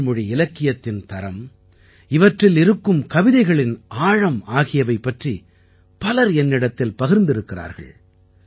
தமிழ் மொழி இலக்கியத்தின் தரம் இவற்றில் இருக்கும் கவிதைகளின் ஆழம் ஆகியவை பற்றி பலர் என்னிடத்தில் பகிர்ந்திருக்கிறார்கள்